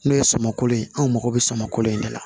N'o ye samako ye anw mago bɛ samako in de la